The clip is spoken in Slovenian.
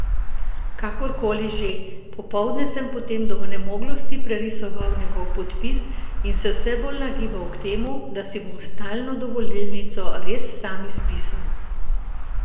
Kakorkoli že, popoldne sem potem do onemoglosti prerisoval njegov podpis in se vse bolj nagibal k temu, da si bom stalno dovolilnico res sam izpisal.